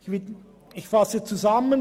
Ich fasse zusammen: